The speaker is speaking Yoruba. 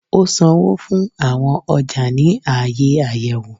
O sánwọ fún awọn ọja ni aaye ayẹwo.